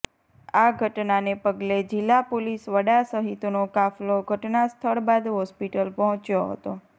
આ ઘટનાને પગલે જિલ્લા પોલીસ વડા સહિતનો કાફલો ઘટના સ્થળ બાદ હોસ્પિટલ પહોંચ્યો હતો